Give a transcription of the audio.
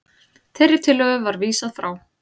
Þeirri tillögu var vísað frá